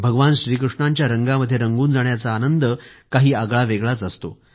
भगवान श्रीकृष्णाच्या रंगामध्ये रंगून जाण्याचा आनंद काही आगळावेगळाच असतो